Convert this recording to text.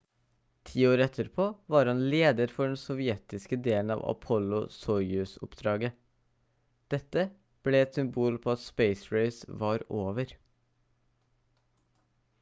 10 år etterpå var han leder for den sovjetiske delen av apollo-soyuz-oppdraget dette ble et symbol på at space race var over